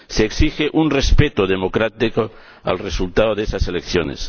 Se exige un respeto democrático al resultado de esas elecciones.